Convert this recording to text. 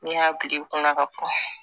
N'i y'a bil'i kunna ka bɔn